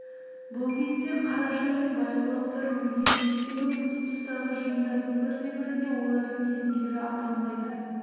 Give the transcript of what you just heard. бұл кезде қаражан мен байғұлақтар өлген өйткені осы тұстағы жиындардың бірде-бірінде олардың есімдері аталмайды